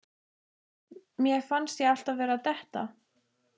Mér fannst ég alltaf vera að detta.